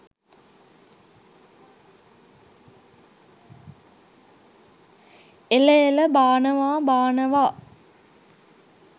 එළ එළ බානවා බානවා